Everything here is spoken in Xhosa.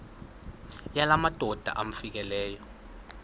yala madoda amfikeleyo